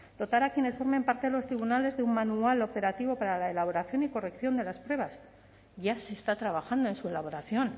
dotar a quienes formen parte de los tribunales de un manual operativo para la elaboración y corrección de las pruebas ya se está trabajando en su elaboración